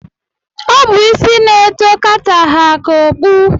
Ọ bụ isi na-eto kata ha ka okpu.